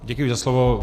Děkuji za slovo.